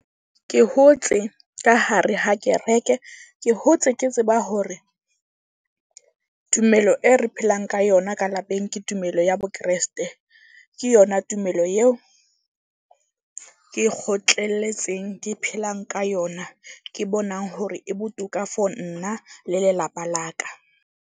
Ke hotse ka hare ha kereke. Ke hotse ke tseba hore tumelo e re phelang ka yona ka lapeng ke tumelo ya bo Kreste. Ke yona tumelo eo ke kgotlelletseng ke phelang ka yona. Ke bonang hore e botoka for nna le lelapa la ka.